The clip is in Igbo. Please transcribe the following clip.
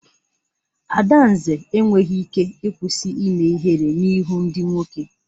Adanze enweghị ike ịkwụsị ime ihere n'ihu ndị nwoke.